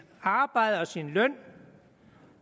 arbejde og sin løn